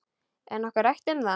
Er nokkuð rætt um það?